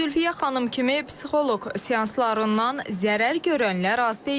Zülfiyə xanım kimi psixoloq seanslarından zərər görənlər az deyil.